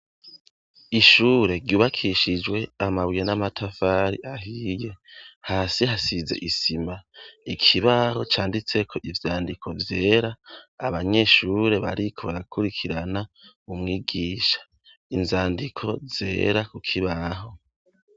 Ishure ryubakishijwe amabuye n'amatafari ahiye, hasi hasize isima, ikibaho canditseko ivyandiko vyera abanyeshure bariko barakurikirana umwigisha ,inzandiko zera kukibaho.